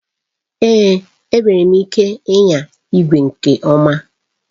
Èé! Enwere m ike ịnya igwe nke ọma